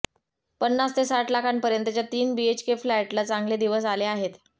पन्नास ते साठ लाखपर्यंतच्या तीन बीएचके फ्लॅटला चांगले दिवस आहे आहेत